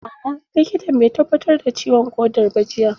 A'a likitan bai tabbatar da ciwon ƙodar ba jiya